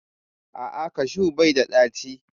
A'a, kashu bai da ɗaci